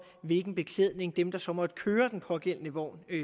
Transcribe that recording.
hvilken beklædning de der så måtte køre den pågældende vogn